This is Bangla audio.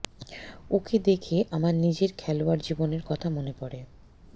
ওকে দেখে আমার নিজের খেলোয়াড় জীবনের কথা মনে পড়ে